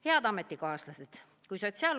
Head ametikaaslased!